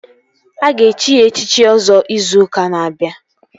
Aga echi ya echichi Ọzọ izu ụka na-abịa